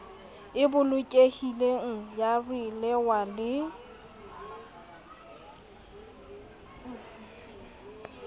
e bolokehileng ya ralewa le